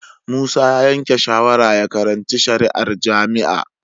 Musa ya yanke shawarar ya karanci shari'a a jami'a